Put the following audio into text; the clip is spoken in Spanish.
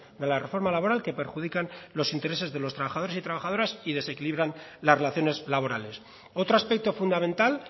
de la reforma laboral que perjudican los intereses de los trabajadores y trabajadoras y desequilibran las relaciones laborales otro aspecto fundamental